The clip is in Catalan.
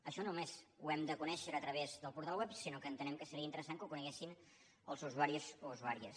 això no només ho hem de conèixer a través del portal web sinó que seria interessant que ho coneguessin els usuaris o usuàries